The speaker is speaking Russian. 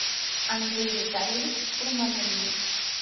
андрей витальевич курманалиев